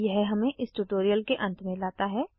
यह हमें इस ट्यूटोरियल के अंत में लाता है